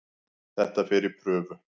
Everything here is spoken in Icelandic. Þetta fer í prufi.